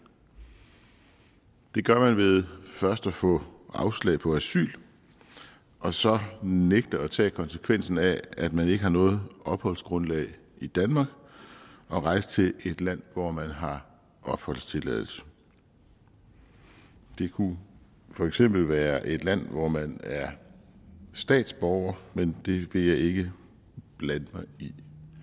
det gør man ved først at få afslag på asyl og så nægte at tage konsekvensen af at man ikke har noget opholdsgrundlag i danmark og rejse til et land hvor man har opholdstilladelse det kunne for eksempel være et land hvor man er statsborger men det vil jeg ikke blande mig i